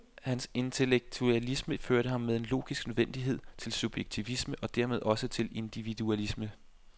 Hans antiintellektualisme førte ham med logisk nødvendighed til subjektivisme og dermed også til individualisme.